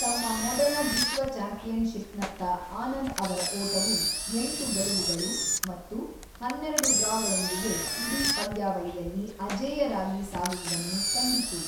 ತಮ್ಮ ಮೊದಲ ವಿಶ್ವ ಚಾಂಪಿಯನ್‌ಶಿಪ್‌ನತ್ತ ಆನಂದ್ ಅವರ ಓಟವು ಎಂಟು ಗೆಲುವುಗಳು ಮತ್ತು ಹನ್ನೆರಡು ಡ್ರಾಗಳೊಂದಿಗೆ ಇಡೀ ಪಂದ್ಯಾವಳಿಯಲ್ಲಿ ಅಜೇಯರಾಗಿ ಸಾಗುವುದನ್ನು ಕಂಡಿತು.